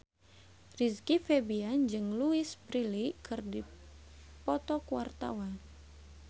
Rizky Febian jeung Louise Brealey keur dipoto ku wartawan